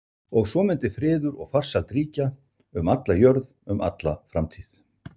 Og svo mundi friður og farsæld ríkja um alla jörð um alla framtíð.